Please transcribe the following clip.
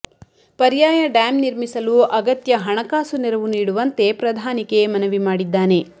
ಪರ್ಯಾಯ ಡ್ಯಾಂ ನಿರ್ಮಿಸಲು ಅಗತ್ಯ ಹಣಕಾಸು ನೆರವು ನೀಡುವಂತೆ ಪ್ರಧಾನಿಗೆ ಮನವಿ ಮಾಡಿದ್ದಾನೆ